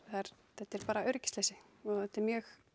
þetta er bara öryggisleysi og þetta er mjög